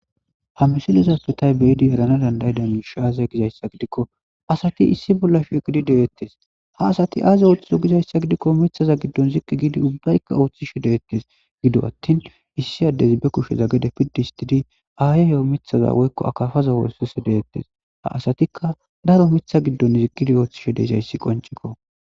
Ha misilizapfetay beyidi erana dandayida miish aaziya gizayssa gidikko asati issi bolla shuuqidi deettes ha asati aaze ooththido gizayssa gidikko mithaza giddon ziqqi giidi ubbaykka ooththishe deettes gido attin issi addezi be kushe zagede piddihistidi aayehe'o mithaza woykko akafaza worsose deettes ha asatikka daro mitha giddon ziqqidi ooththishe desayssi qoncikko